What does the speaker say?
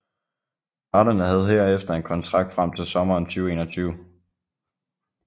Parterne havde herefter en kontrakt frem til sommeren 2021